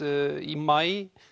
í maí